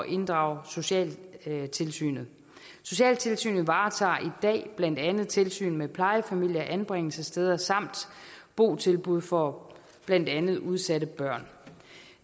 inddrage socialtilsynet socialtilsynet varetager dag blandt andet tilsyn med plejefamilier anbringelsessteder samt botilbud for blandt andet udsatte børn